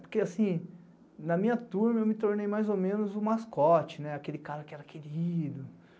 Porque assim, na minha turma eu me tornei mais ou menos o mascote, aquele cara que era querido.